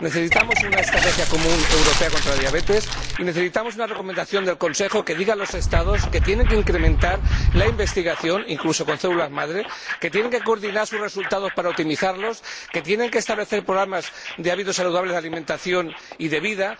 Necesitamos una estrategia común europea contra la diabetes y necesitamos una recomendación del Consejo que diga a los Estados que tienen que incrementar la investigación, incluso con células madre, que tienen que coordinar sus resultados para optimizarlos y que tienen que establecer programas de hábitos saludables de alimentación y de vida.